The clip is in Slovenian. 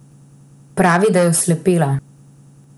Pravi, da je oslepela.